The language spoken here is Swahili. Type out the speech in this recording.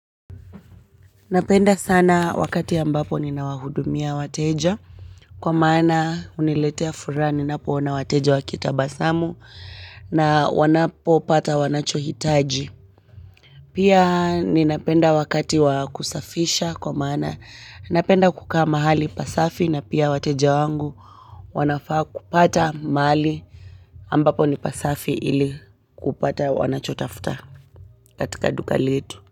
Napenda sana wakati ambapo ninawahudumia wateja kwa maana huniletea furaha ninapoona wateja wakitabasamu na wanapopata wanachohitaji pia ninapenda wakati wa kusafisha kwa maana napenda kukaa mahali pasafi na pia wateja wangu wanafaa kupata mali ambapo ni pasafi ili kupata wanachotafuta katika duka letu.